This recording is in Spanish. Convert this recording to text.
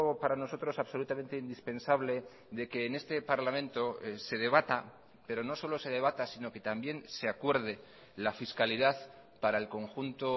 para nosotros absolutamente indispensable de que en este parlamento se debata pero no solo se debata sino que también se acuerde la fiscalidad para el conjunto